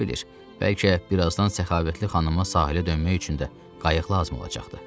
Kim bilir, bəlkə birazdan səxavətli xanıma sahilə dönmək üçün də qayıqlı lazım olacaqdı.